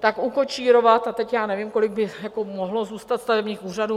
tak ukočírovat, a teď já nevím, kolik by mohlo zůstat stavebních úřadů;